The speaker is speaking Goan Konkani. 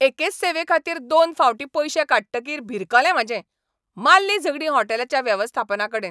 एकेच सेवेखातीर दोन फावटीं पयशे काडटकीर भिरकलें म्हाजें, माल्लीं झगडीं हॉटेलाच्या वेवस्थापनाकडेन!